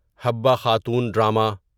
Habba Khatoon drama